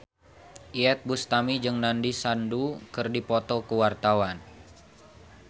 Iyeth Bustami jeung Nandish Sandhu keur dipoto ku wartawan